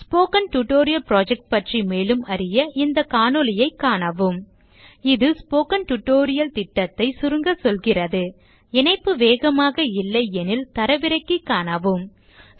spoken tutorial project பற்றி மேலும் அறிய இந்த காணொளியைக் காணவும் 1 இது ஸ்போக்கன் டியூட்டோரியல் project ஐ சுருங்க சொல்கிறது இணைப்பு வேகமாக இல்லையெனில் தரவிறக்கி காணவும்